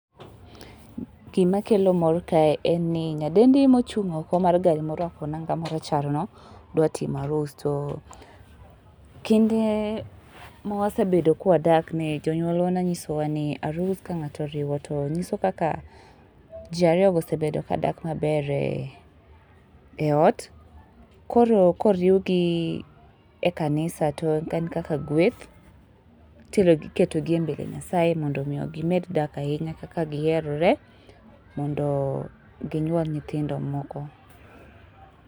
Gima kelo mor kae en ni nyadendi mochung oko mar gari morwako nanga marachar no dwa timo arus. To kinde ma wasebedo ka wadak, jonyuol wa ne nyisowa ni arus ka ngato oriwo to nyiso kaka jii ariyo go osebedo kadak maber e ot, koro koriwgi e kanisa to en kaka gweth iterogi, iketogi e mbele nyasaye mondo gimed dak ahinya kaka giherore mondo ginyuol nyithindo moko